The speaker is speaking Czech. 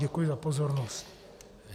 Děkuji za pozornost.